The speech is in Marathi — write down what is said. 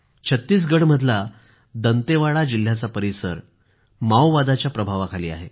छत्तीसगढमधला दंतेवाडा जिल्ह्याचा परिसर माओवादाच्या प्रभावाखाली आहे